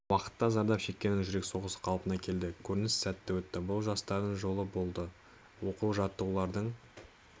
уақытта зардап шеккеннің жүрек соғысы қалпына келді көрініс сәтті өтті бұл жастардың жолы болды оқу-жаттығулардың